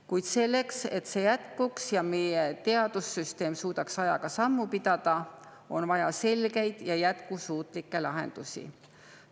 Kuid selleks, et see jätkuks ja meie teadussüsteem suudaks ajaga sammu pidada, on vaja selgeid ja jätkusuutlikke lahendusi.